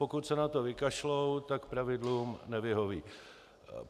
Pokud se na to vykašlou, tak pravidlům nevyhoví.